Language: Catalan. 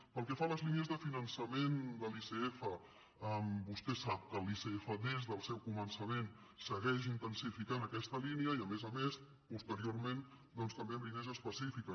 pel que fa a les línies de finançament de l’icf vostè sap que l’icf des del seu començament segueix intensificant aquesta línia i a més a més posteriorment també amb línies específiques